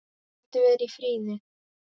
Vildi vera í friði.